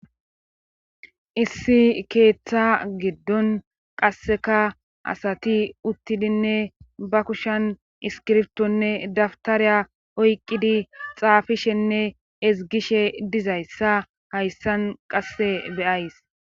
issi keeththa giddon qasseka asati uttidinne ba kushan iskirftonne dabtariya oyqqidi xaafishenne ezgishe dizayssa hayssan qasse be'ays